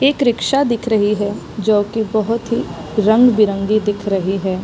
एक रिक्शा दिख रही है जो की बहोत ही रंग-बिरंगी दिख रही है।